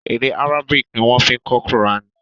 Èdè Arabic ni wọ́n fi kọ kùránì.